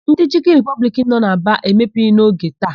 Ndị Chịkịn Ripọbliki nọ na Aba emepeghị n'oge taa.